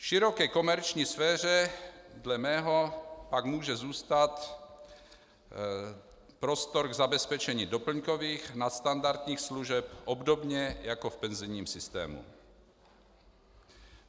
V široké komerční sféře dle mého pak může zůstat prostor k zabezpečení doplňkových nadstandardních služeb obdobně jako v penzijním systému.